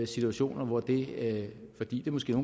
situationer hvor det fordi det måske